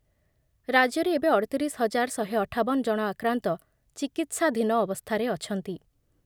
ରାଜ୍ୟରେ ଏବେ ଅଠତିରିଶ ହଜାର ଶହେ ଅଠାବନ ଜଣ ଆକ୍ରାନ୍ତ ଚିକିତ୍ସାଧୀନ ଅବସ୍ଥାରେ ଅଛନ୍ତି ।